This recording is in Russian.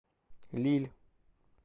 лилль